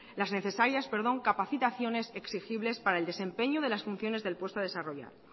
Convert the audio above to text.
las necesarias capacitaciones exigibles para el desempeño de las funciones del puesto a desarrollar